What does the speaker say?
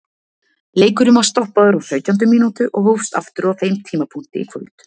Leikurinn var stoppaður á sautjándu mínútu og hófst aftur á þeim tímapunkti í kvöld.